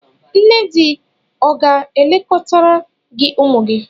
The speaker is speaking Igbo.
Nne di ọ ga-elekọtara gị ụmụ gị?